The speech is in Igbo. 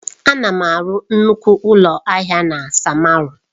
Ana m arụ nnukwu ụlọ ahịa na samaru.